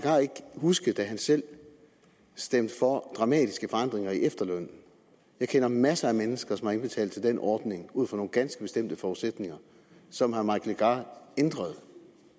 huske at han selv stemte for dramatiske forandringer af efterlønnen jeg kender masser af mennesker som har indbetalt til den ordning ud fra nogle ganske bestemte forudsætninger som herre mike legarth ændrede